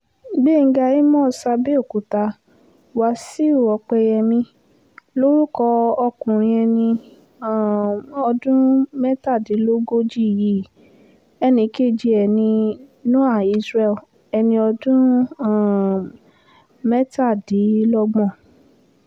gbéńga àmós àbẹ̀òkúta wáṣíù òpẹ́yẹmí lorúkọ ọkùnrin ẹni um ọdún mẹ́tàdínlógójì yìí ẹnì kejì ẹ̀ ní noah isreal ẹni ọdún um mẹ́tàdínlọ́gbọ̀n